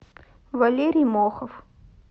валерий мохов